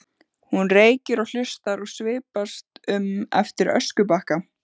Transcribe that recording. Hún reykir og hlustar og svipast um eftir öskubakka.